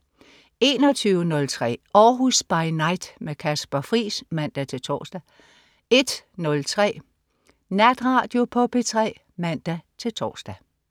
21.03 Århus By Night. Kasper Friis (man-tors) 01.03 Natradio på P3 (man-tors)